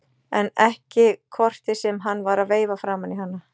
En ekki kortið sem hann var að veifa framan í hana!